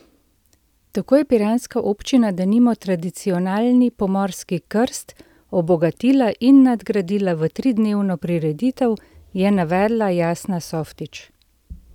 Tako je piranska občina denimo tradicionalni pomorski krst obogatila in nadgradila v tridnevno prireditev, je navedla Jasna Softič.